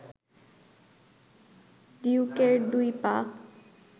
ডিউকের দুই পা